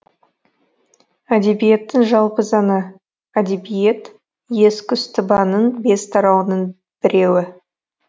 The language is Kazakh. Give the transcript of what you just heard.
әдебиеттің жалпы заңы әдебиет ескүстыбаның бес тарауының біреуі